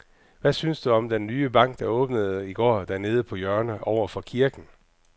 Hvad synes du om den nye bank, der åbnede i går dernede på hjørnet over for kirken?